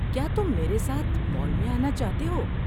کیا تم میرے ساتھ مال میں آنا چاہتے ہو؟